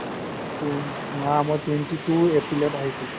না মই twenty-two aprilত আহিছিলো